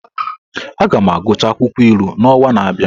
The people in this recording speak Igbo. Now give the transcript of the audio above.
Aga m agụchaa akwụkwọ ilu n’ọnwa na-abịa.